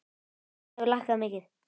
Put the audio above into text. Hún hefur lækkað mikið.